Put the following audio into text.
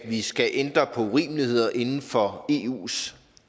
at vi skal ændre på urimeligheder inden for eus